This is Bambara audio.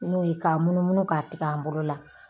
N'o ye ka munumunu k'a tigɛ an bolo la